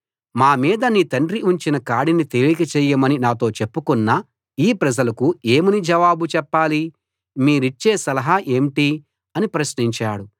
మా మీద నీ తండ్రి ఉంచిన కాడిని తేలిక చేయమని నాతో చెప్పుకున్న ఈ ప్రజలకు ఏమని జవాబు చెప్పాలి మీరిచ్చే సలహా ఏంటి అని ప్రశ్నించాడు